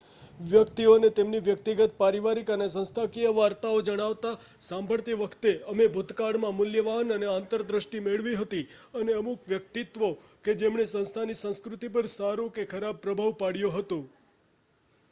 વ્યક્તિઓને તેમની વ્યક્તિગત પરિવારિક અને સંસ્થાકીય વાર્તાઓ જણાવતા સાંભળતી વખતે અમે ભૂતકાળમાં મૂલ્યવાન આંતર દ્રષ્ટિ મેળવી હતી અને અમુક વ્યક્તિત્વો કે જેમણે સંસ્થાની સંસ્કૃતિ પર સારો કે ખરાબ પ્રભાવ પાડ્યો હતો